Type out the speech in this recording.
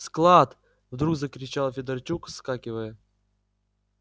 склад вдруг закричал федорчук вскакивая